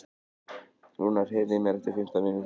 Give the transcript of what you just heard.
Rúnar, heyrðu í mér eftir fimmtán mínútur.